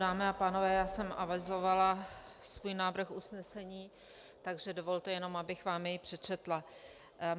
Dámy a pánové, já jsem avizovala svůj návrh usnesení, takže dovolte jenom, abych vám jej přečetla.